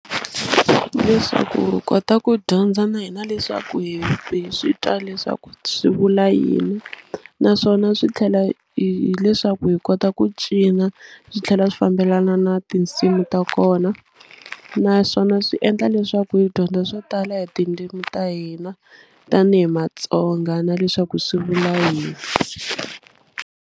Leswaku hi kota ku dyondza na hina leswaku hi hi swi twa leswaku swi vula yini naswona swi tlhela hi hileswaku hi kota ku cina swi tlhela swi fambelana na tinsimu ta kona naswona swi endla leswaku hi dyondza swo tala hi tindzimi ta hina tanihi Matsonga na leswaku swi vula yini.